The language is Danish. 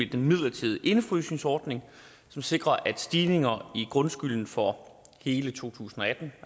den midlertidige indefrysningsordning som sikrer at stigninger i grundskylden for hele to tusind og atten